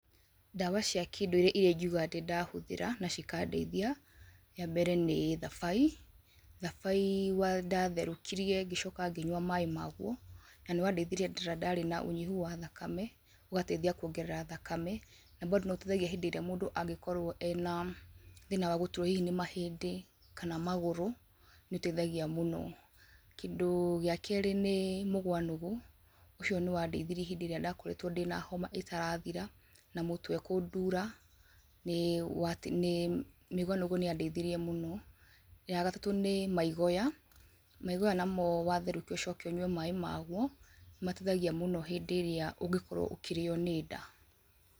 Ndawa cia kĩndũirĩ iria ingiuga ndĩ ndahũthĩra na cikandeithia, yambere nĩ thabai , thabai wa ndatherũkirie ngĩcoka ngĩnyua maĩ magwo, na nĩ wandeithirie hĩndĩ ĩrĩa ndarĩ na ũnyihu wa thakame, ũgateithia kuongerera thakame, na bando nĩ ũteithagia hĩndĩ ĩrĩa mũndũ angĩkorwo ena thĩna wagũturwo hihi nĩ mahĩndĩ, kana magũrũ nĩ ũteithagia mũno, kĩndũ gĩa kerĩ nĩ mũgwanũgũ, ũcio nĩ wandeithirie hĩndĩ ĩrĩa ndakoretwo ndĩ na homa ĩtarathira, na mũtwe kũndura nĩ wa ti nĩ mĩgwanũgũ nĩ ya ndeithirie mũno, ya gatatũ nĩ maigoya, maigoya namo watherũkia ũcoke ũnywe maĩ magwo, nĩ mateithagia mũno hĩndĩ ĩrĩa ũngĩkorwo ũkĩrĩyo nĩ nda.